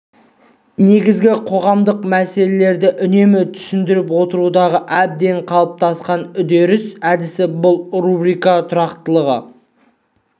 негізгі қоғамдық мәселелерді үнемі түсіндіріп отырудағы әбден қалыптасқан әдіс бұл рубрика тұрақтылығы